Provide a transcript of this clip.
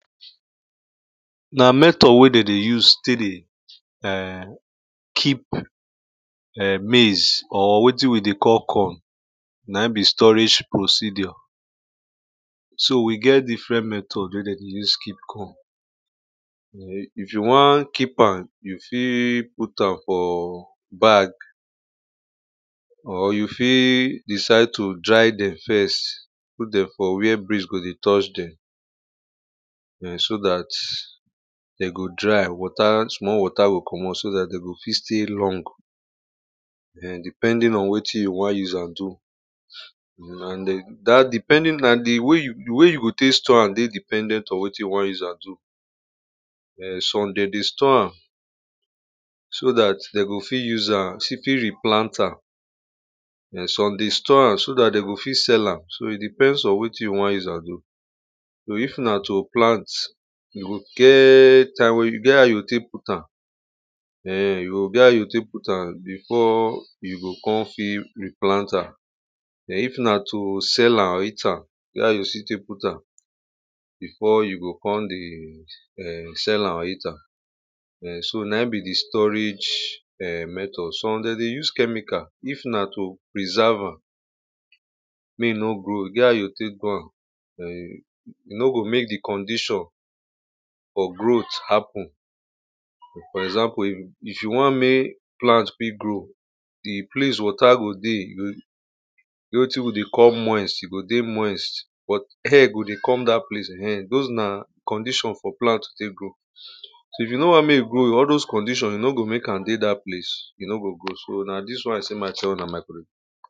Na method wey they use to dey keep maize or waiting wey they call corn, na im be storage procedure. So we get different method wey they use keep corn. If you want keep am, you fit put am for bag or you fit decide to dry them first, put them for where breeze go dey touch them um so that they go dry, water small water go commot, we go fit stay long um depending on waiting you want use am do. um And that depending, the way you go take store am dey dependent on waiting you want use am do. um Some they dey store am so that they go fit use am, they fit replant am, um some dey store am so that they go fit sell am, so it depends on waiting you want use am do. So if na to plant, you go get a, you get how you go take put am. um You go get how you go take put am before you go come fit replant am. And if na to sell am later, you get how you go take put am before you go come dey sell am later. um So na be the storage method. Some they dey use chemical, if na to preserve am um make e no grow, you get how you go take go am, um you no go make the condition of growth happen. For example, if you want make plants dey grow, the place water go dey, wetin wey they call moist, you go dey moist, but air go dey come that place, those na condition for plant to take grow. So if you no want make e grow, all those condition, you no go make an dey that place, you no go grow, so na this one I say make I tell una my country people.